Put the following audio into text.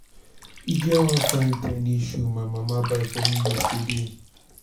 e get one fine trending shoe my mama buy for me yesterday